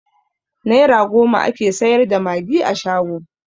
Naira goma ake sayar da magi a shago